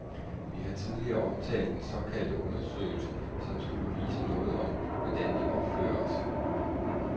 Vi har tidligere omtalt den såkaldte undersøgelse, som skulle vise noget om, hvordan vi opfører os.